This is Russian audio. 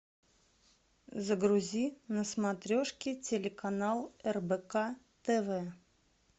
загрузи на смотрешке телеканал рбк тв